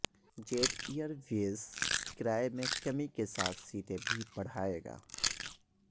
jet Airways کرایے میں کمی کے ساتھ سیٹیں بھی بڑھائے گا